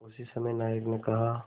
उसी समय नायक ने कहा